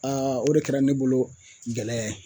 o de kɛra ne bolo gɛlɛya ye